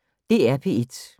DR P1